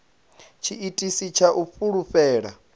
na tshiitisi tsha u fulufhela